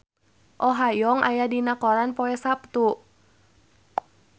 Oh Ha Young aya dina koran poe Saptu